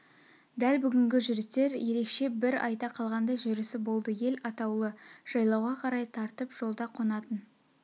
дәл бүгінгі жүрістер ерекше бір айта қалғандай жүрісі болды ел атаулы жайлауға қарай тартып жолда қонатын